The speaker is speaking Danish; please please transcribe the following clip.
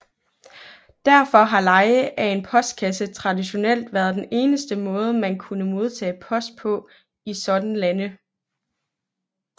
Derfor har leje af en postboks traditionelt været den eneste måde man kunne modtage post på i sådanne lande